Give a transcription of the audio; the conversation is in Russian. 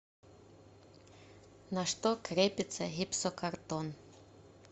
на что крепится гипсокартон